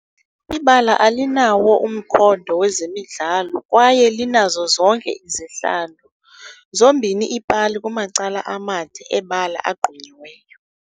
Ibala alinawo umkhondo wezemidlalo kwaye linazo zonke izihlalo, zombini iipali kumacala amade ebala agqunyiweyo.